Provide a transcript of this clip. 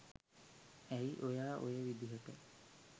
ඇයි ඔයා ඔය විදිහට